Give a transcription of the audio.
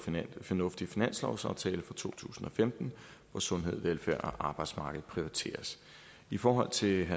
fornuftig finanslovsaftale for to tusind og femten hvor sundhed velfærd og arbejdsmarked prioriteres i forhold til